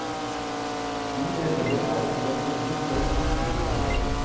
Jo, jeg føler av og til et behov for å trampe i klaveret.